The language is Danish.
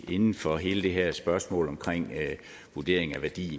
inden for hele det her spørgsmål omkring vurderingen af værdien